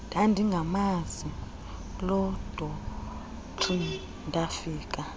ndandingamazi lodoreen ndafika